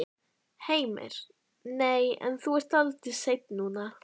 Heimir: Nei en þú ert dálítið sein núna?